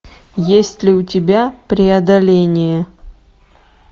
есть ли у тебя преодоление